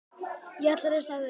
Ég ætla að lesa þær aftur.